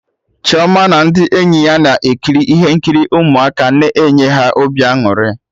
Chioma na ndị enyi ya na-ekiri ihe nkiri ụmụaka na enye ha obi aṅụrị